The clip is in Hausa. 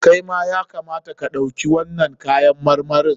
Kai ma ya kamata ka ɗauki wannan kayan marmarin.